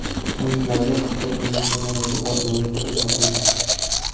Ayrimlariga hatto bir necha marotaba loyiq deb topildi.